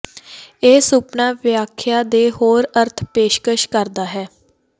ਇਹ ਸੁਪਨਾ ਵਿਆਖਿਆ ਦੇ ਹੋਰ ਅਰਥ ਪੇਸ਼ਕਸ਼ ਕਰਦਾ ਹੈ